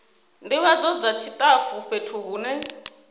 ndivhadzo dza tshitafu fhethu hune